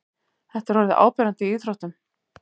Þetta er orðið áberandi í íþróttum.